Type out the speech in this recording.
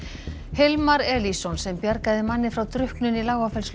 Hilmar Elísson sem bjargaði manni frá drukknun í